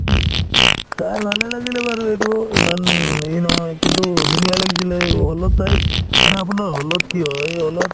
চাই ভালে লাগিলে বাৰু এইটোও ইমান ই নহয় কিন্তু ধুনীয়া লাগিছিলে hall ত চাই মানে আপোনাৰ hall ত কি হয় hall ত